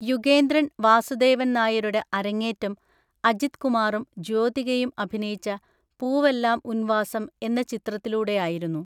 യുഗേന്ദ്രൻ വാസുദേവൻ നായരുടെ അരങ്ങേറ്റം അജിത് കുമാറും ജ്യോതികയും അഭിനയിച്ച പൂവെല്ലാം ഉൻ വാസം എന്ന ചിത്രത്തിലൂടെയായിരുന്നു.